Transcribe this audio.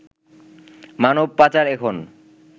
মানব পাচার এখন